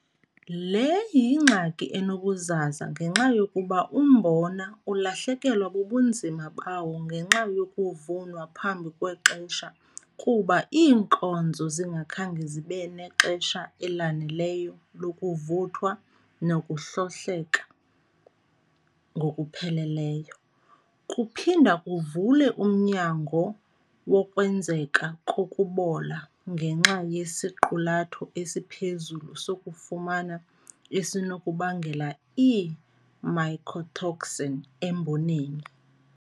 Le yingxaki enobuzaza ngenxa yokuba umbona ulahlekelwa bubunzima bawo ngenxa yokuvunwa phambi kwexesha kuba iinkozo zingakhange zibe nexesha elaneleyo lokuvuthwa nokuhlohleka ngokupheleleyo. Kuphinda kuvule umnyango wokwenzeka kokubola ngenxa yesiqulatho esiphezulu sokufumana esinokubangela ii-mycotoxin emboneni.